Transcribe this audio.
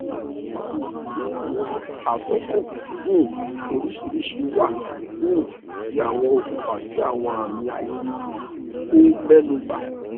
bawoni awọn atokọ um oriṣiriṣi wa um ti awọn okunfa ti awọn ami aisan ti o mẹnuba